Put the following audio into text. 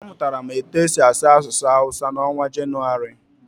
A mụtara m etu e si asụ asụsụ hawusa n'ọnwa Janụwarị.